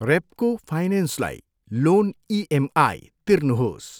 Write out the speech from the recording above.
रेप्को फाइनेन्सलाई loan EMI तिर्नुहोस्।